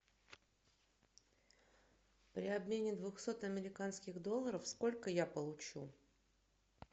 при обмене двухсот американских долларов сколько я получу